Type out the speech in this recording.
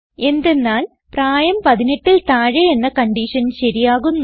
എന്തെന്നാൽ പ്രായം 18ൽ താഴെ എന്ന കൺഡിഷൻ ശരിയാകുന്നു